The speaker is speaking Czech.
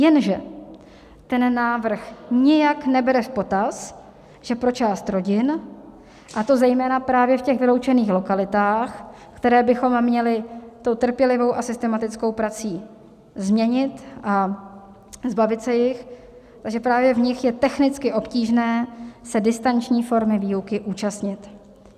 Jenže ten návrh nijak nebere v potaz, že pro část rodin, a to zejména právě v těch vyloučených lokalitách, které bychom měli tou trpělivou a systematickou prací změnit a zbavit se jich, že právě v nich je technicky obtížné se distanční formy výuky účastnit.